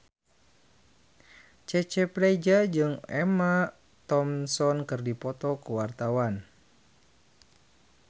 Cecep Reza jeung Emma Thompson keur dipoto ku wartawan